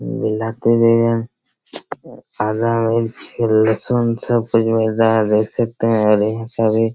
काला मिर्च लहसुन सब कुछ मिलता है देख सकते है बढ़ियाँ सब्जी--